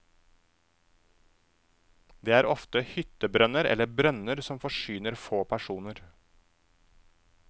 Dette er ofte hyttebrønner eller brønner som forsyner få personer.